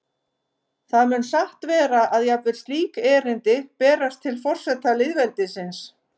Það mun satt vera að jafnvel slík erindi berast til forseta lýðveldisins.